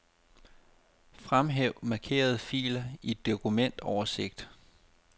Fremhæv markerede filer i dokumentoversigt.